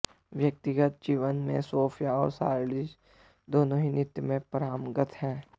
व्यक्तिगत जीवन में सोफिया और शार्लिज दोनों ही नृत्य में पारंगत हैं